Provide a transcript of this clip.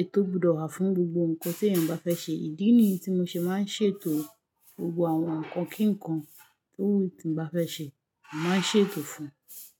ètò gbọdọ̀ wà fún gbogbo ǹkan tí èèyàn bá fẹ́ ṣe. Ídí ni tí mo ṣe máa ń ṣètò gbogbo àwọn ǹkan kíǹkan tí mo bá fẹ́ ṣe, màá ṣètò fún un.